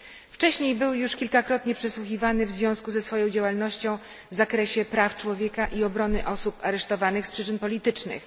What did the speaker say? Wcześniej był już kilkakrotnie przesłuchiwany w związku ze swoją działalnością w zakresie praw człowieka i obrony osób aresztowanych z przyczyn politycznych.